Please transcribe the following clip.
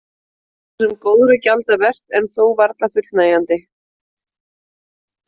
Þetta er svo sem góðra gjalda vert en þó varla fullnægjandi.